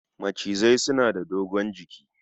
Macizai suna da dogon jiki